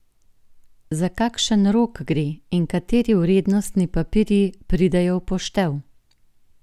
Za kakšen rok gre in kateri vrednostni papirji pridejo v poštev?